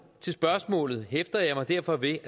til spørgsmålet hæfter jeg mig derfor ved at